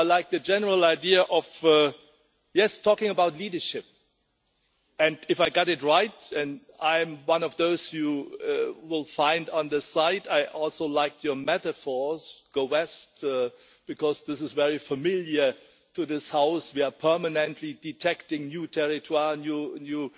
I like the general idea of talking about leadership, and if I got it right and I am one of those you will find on the site, I also liked your metaphors, go west, because this is very familiar to this House we are permanently detecting new territoires', new